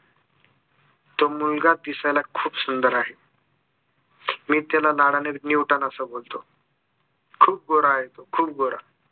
तो मुलगा दिसायला खूप सुंदर आहे मी त्याला लाडाने न्यूटन असं बोलतो खूप गोरा आहे तो खूप गोरा